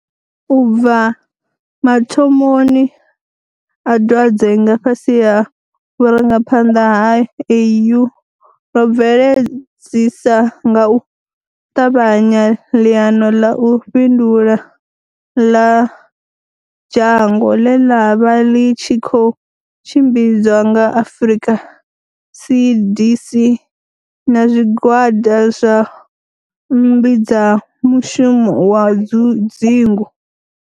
U bva mathomoni a dwadze nga fhasi ha vhurangaphanḓa ha AU, ro bveledzisa nga u ṱavhanya ḽiano ḽa u fhindula ḽa dzhango, ḽe ḽa vha ḽi tshi khou tshimbidzwa nga Afrika CDC na zwigwada zwa mmbi dza mushumo wa dzingu.